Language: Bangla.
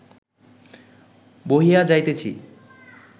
বহিয়া যাইতেছি